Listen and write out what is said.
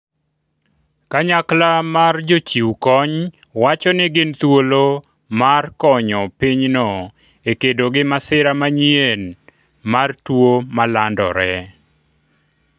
kanyakla mar jochiw kony wacho ni gin thuolo mar konyo pinyno e kedo gi masira manyien mar to ma landore